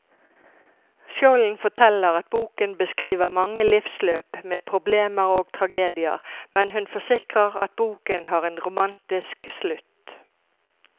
Skjolden forteller at boken beskriver mange livsløp med problemer og tragedier, men hun forsikrer at boken har en romantisk slutt.